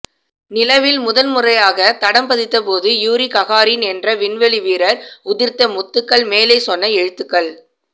நிலவில் முதல் முறையாக தடம் பதித்தபோது யூரி ககாரின் என்ற விண்வெளி வீரர் உதிர்த்த முத்துக்கள் மேலே சொன்ன எழுத்துக்கள்